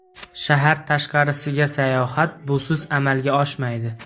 Shahar tashqarisiga sayohat busiz amalga oshmaydi.